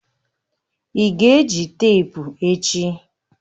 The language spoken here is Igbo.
Ị ga-eji teepu echi?